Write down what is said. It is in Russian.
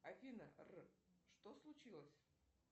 афина что случилось